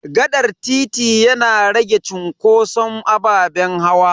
Gaɗar titi yana rage cunkoson ababen hawa.